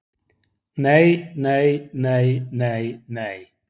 Nei, nei, nei, nei, nei.